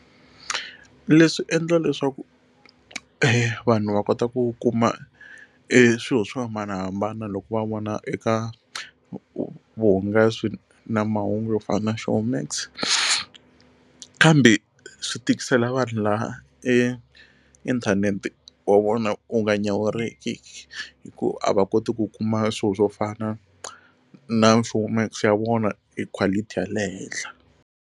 Leswi endla leswaku e vanhu va kota ku kuma e swilo swo hambanahambana loko va vona eka vuhungasi na mahungu yo fana Showmax kambe swi tikisela vanhu laha e inthanete wa vona wu nga nyawuriki hikuva a va koti ku kuma swilo swo fana na Showmax ya vona hi quality ya le henhla.